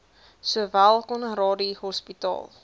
sowel conradie hospitaal